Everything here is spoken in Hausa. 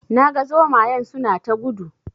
Na ga zomayen suna ta gudu